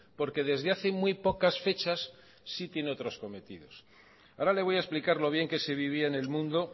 porque desde hace muy pocas fechas sí tiene otros cometidos ahora le voy a explicar lo bien que se vivía en el mundo